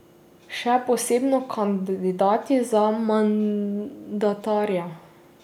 Še posebno kandidati za mandatarja.